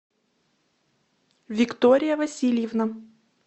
виктория васильевна